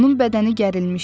Onun bədəni gərilmişdi.